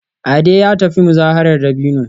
Ade ya tafi muzaharar dabino